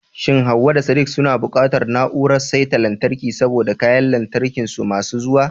Shin Hawwa da Sadiq suna buƙatar siyan na'urar saita lantarki saboda kayan lantarkin su masu zuwa?